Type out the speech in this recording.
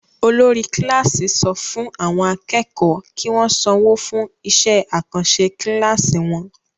Olórí kíláásì sọ fún àwọn akẹ́kọ̀ọ́ kí wọ́n sanwó fún iṣẹh-àkànṣẹ kíláásì wọn.